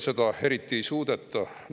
Seda eriti ei suudeta.